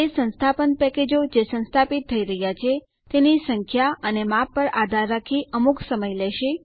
તે સંસ્થાપન પેકેજો જે સંસ્થાપિત થઇ રહ્યા છે તેની સંખ્યા અને માપ પર આધાર રાખી અમુક સમય લેશે